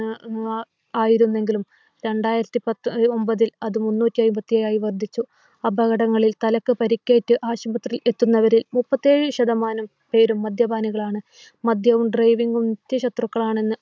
ആയിരുന്നെങ്കിലും രണ്ടായിരത്തി പത്തൊൻപത്തിൽ അത് മുന്നൂറ്റി അന്പത്തേഴായിവർദ്ധിച്ചു. അപകടങ്ങളിൽ തലയ്ക്ക് പരിക്കേറ്റ് ആശുപത്രികൾ എത്തുന്നവരിൽ മുപ്പത്തിയേഴ് ശതമാനം പേരും മദ്യപാനികളാണ്. മദ്യവും driving ഉം മുഖ്യ ശത്രുക്കളാണെന്ന്